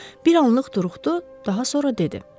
Bir anlıq durdu, daha sonra dedi.